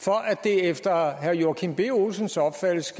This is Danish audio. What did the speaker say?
for at det efter herre joachim b olsens opfattelse